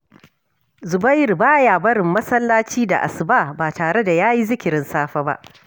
Zubairu ba ya barin masallaci da asuba ba tare da ya yi zikirin safe ba